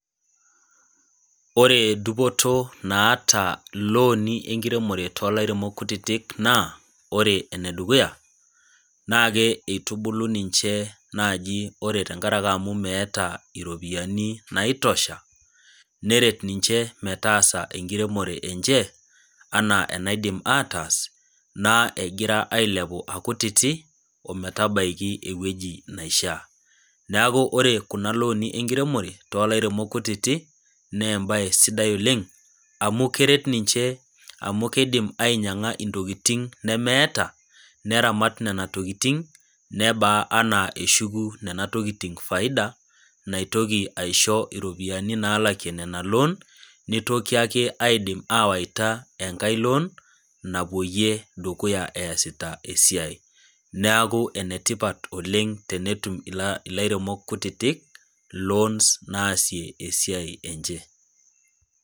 Ore dupoto naata ilooni enkiremore toolairemok kutitik naa ore enedukuya ,naa eitubulu ninche naaji ore tenkaraki amu meeta iropiyiani naitosha neret niche metaasa enkiremore enche enaa enaidim aatas naa egira ailepu akutiti omatabaiki eweji neishaa .neeku ore kuna looni enkiremore toolairemok kutiti, naa embae sidai oleng amu keret ninche naa keidim ainyanga ntokiting nemeeta neramat nena tokiting nebaa enaa eshuku nena tokiting faida naitoki aisho nena ropiyiani naalakie ina loon, nitoki ake aidim awaita enaake loon napwoyie dukuya esita esiai. neeku enetipata oleng tenetum ilairemok kutitik loons naasie esiai enche.